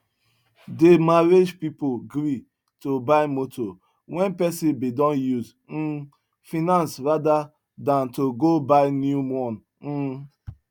dey marriage pipu gree to buy moto wen pesin bin don use um finis rada dan to go buy new one um